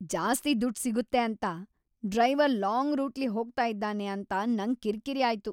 ಜಾಸ್ತಿ ದುಡ್ ಸಿಗುತ್ತೆ ಅಂತ ಡ್ರೈವರ್ ಲಾಂಗ್ ರೂಟ್ಲಿ ಹೋಗ್ತಾ ಇದ್ದಾನೆ ಅಂತ ನಂಗ್ ಕಿರ್ಕಿರಿ ಆಯ್ತು.